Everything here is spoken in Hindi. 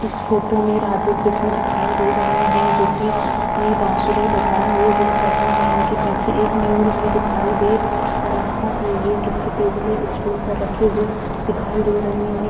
इस फोटो में राधे कृष्णा दिखाई दे रहे है जो की ये बाँसुरी बजाये हुए दिख रहे है इनके पीछे एक मयूर भी दिखाई दे रहा है यहाँ किसी टेबल या स्टूल पर रखे हुए दिखाई दे रहे है।